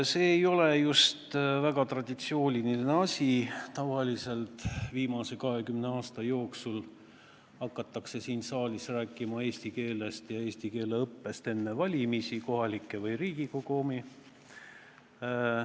See ei ole just traditsiooniline asi – viimase 20 aasta jooksul on siin saalis tavaliselt hakatud eesti keelest ja eesti keele õppest rääkima enne valimisi, kas kohalikke või Riigikogu omi.